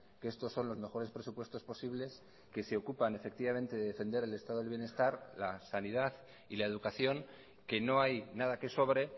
que estos son los mejores presupuestos posibles que se ocupan efectivamente de defender el estado del bienestar la sanidad y la educación que no hay nada que sobre